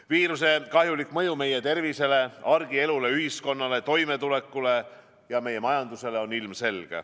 Viiruse kahjulik mõju meie tervisele, argielule, ühiskonnale, toimetulekule ja meie majandusele on ilmselge.